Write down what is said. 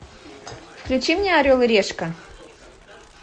включи мне орел и решка